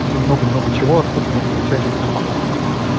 и много-много чего откуда мы получаем информацию